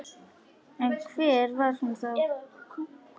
En hver var hún þá?